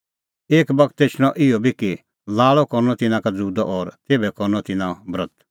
एक बगत एछणअ इहअ बी कि लाल़अ करनअ तिन्नां का ज़ुदअ और तेभै करनअ तिन्नां ब्रत